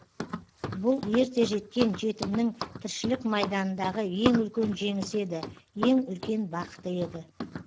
бұл ерте жеткен жетімнің тіршілік майданындағы ең үлкен жеңісі еді ең үлкен бақыты еді